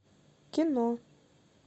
кино